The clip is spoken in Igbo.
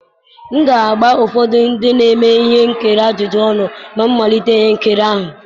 m ga-agba ụfọdụ ndị na-eme ihe nkiri ajụjụ ọnụ na mmalite ihe nkiri ahụ